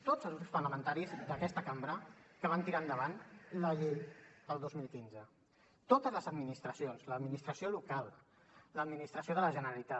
tots els grups parlamentaris d’aquesta cambra que van tirar endavant la llei el dos mil quinze totes les administracions l’administració local l’administració de la generalitat